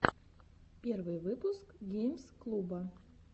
первый выпуск геймс клуба